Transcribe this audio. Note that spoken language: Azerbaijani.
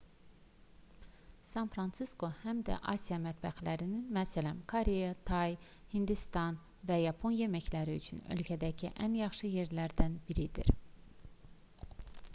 san-fransisko həm də digər asiya mətbəxlərinin məs koreya tay hindistan və yapon yeməkləri üçün ölkədəki ən yaxşı yerlərdən biridir